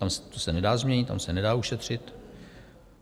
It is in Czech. To se nedá změnit, tam se nedá ušetřit?